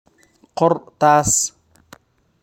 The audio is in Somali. Qor taas.